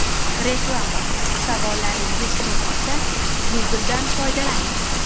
Reklama: Savollaringiz tug‘ilsa, Google’dan foydalaning.